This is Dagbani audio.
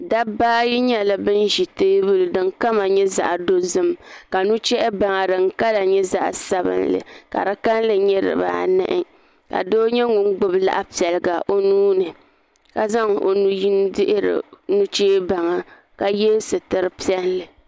dabba ayi nyɛla bin ʒi teebuli din kama nyɛ zaɣ dozim ka nuchɛhi baŋa din kama nyɛ zaɣ sabinli ka di kanli nyɛ dibaanahi ka doo nyɛ ŋun gbubi laɣa piliga o nuuni ka zaŋ o nu yini dihiri nuchɛ baŋa ka yɛ sitiri piɛlli